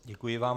Děkuji vám.